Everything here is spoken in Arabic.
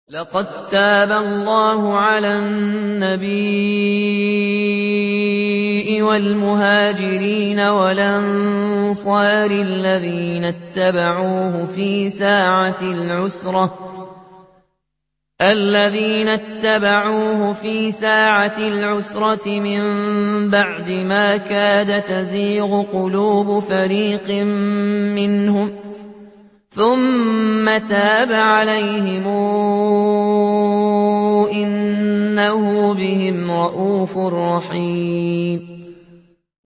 لَّقَد تَّابَ اللَّهُ عَلَى النَّبِيِّ وَالْمُهَاجِرِينَ وَالْأَنصَارِ الَّذِينَ اتَّبَعُوهُ فِي سَاعَةِ الْعُسْرَةِ مِن بَعْدِ مَا كَادَ يَزِيغُ قُلُوبُ فَرِيقٍ مِّنْهُمْ ثُمَّ تَابَ عَلَيْهِمْ ۚ إِنَّهُ بِهِمْ رَءُوفٌ رَّحِيمٌ